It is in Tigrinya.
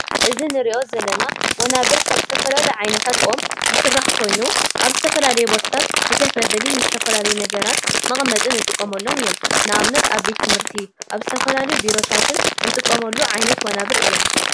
እዚ እንሪዞ ዘለና ወናብር ካብ ዝተፈላለዩ ዓይነታት ኦም ዝስራሕ ኮይኑ አብ ዝተፈላለየ ቦታታት ንከፍ መበሊ ዝተፈላለዩ ነገራት መቀመጥን እንጥቀመሎም እዮም። ንአብነት አብ ቤት ትምህርት፤ አብ ዝተፈላለዩ ቢሮታትን እንጥቀመሉ ዓይነት ወናብር እዮም።